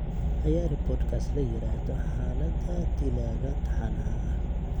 ciyaari podcast la yiraahdo xaaladda dilaaga taxanaha ah